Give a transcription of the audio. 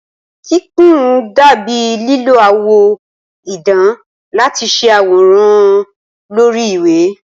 Kíkùn dà bíi lílo àwọ̀ idán láti ṣe àwòrán lórí ìwé.